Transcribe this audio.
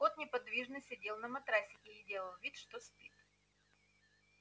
кот неподвижно сидел на матрасике и делал вид что спит